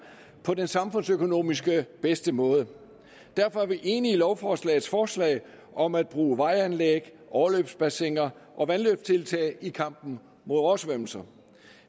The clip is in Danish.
på den samfundsøkonomisk bedste måde derfor er vi enige i lovforslagets forslag om at bruge vejanlæg overløbsbassiner og vandløbstiltag i kampen mod oversvømmelser